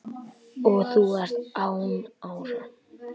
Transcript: og þú ert án ára